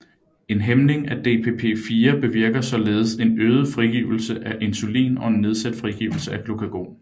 En hæmning af DPP4 bevirker således en øget frigivelse af insulin og en nedsat frigivelse af glukagon